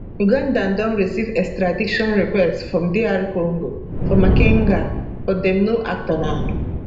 uganda don receive extradition request from dr congo for makenga but dem no act on am